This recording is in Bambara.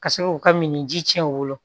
Ka se k'u ka min ji cɛn u bolo